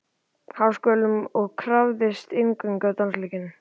Háskólanum og krafðist inngöngu á dansleikinn.